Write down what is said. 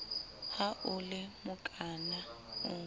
ha o le mokana o